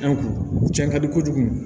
cɛn ka di kojugu